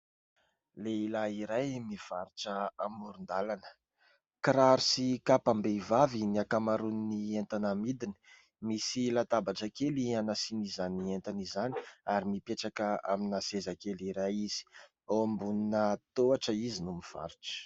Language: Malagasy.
Lehilahy iray mivarotra amoron-dàlana, kiraro sy kapam-behivavy ny ankamaroan'ny entana amidiny, misy latabatra kely hanasiany izany entana izany ary mipetraka amina seza kely iray izy, ao ambonina tohatra izy no mivarotra.